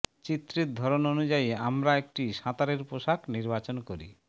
চিত্রের ধরন অনুযায়ী আমরা একটি সাঁতারের পোষাক নির্বাচন করি